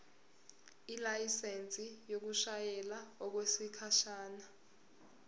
ilayisensi yokushayela okwesikhashana